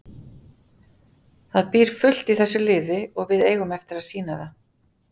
Það býr fullt í þessu liði og við eigum eftir að sýna það.